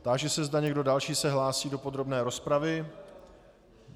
Táži se, zda někdo další se hlásí do podrobné rozpravy.